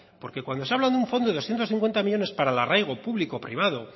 porque cuando se habla de un fondo de doscientos cincuenta millónes para el arraigo público privado